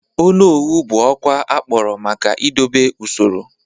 Onowu bụ ọkwa akpọrọ maka idobe usoro.